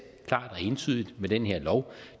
klart og entydigt med den her lov